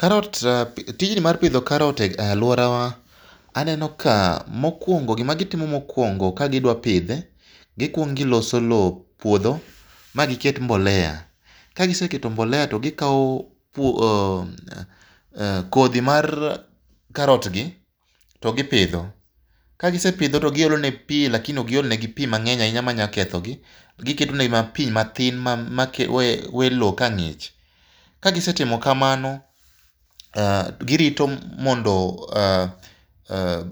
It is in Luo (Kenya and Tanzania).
Karot ee tijni mar pidho karot e aluorawa, aneno ka mokuongo gima gitimo mokuongo ka gidwa pidhe, gikuongo giloso lowo, puodho ma giket mbolea. Ka giseketo mbolea to gikawo kodhi mar karot gi to gipidho. Kagisepidho to giolo negi pi lakini ok giol negi pi mang'eny ahinya manyalo kethogi. Giketo negi mana pi matin ma we lowo ka ng'ich. Kagise timo kamano ee girito mondo ee mondo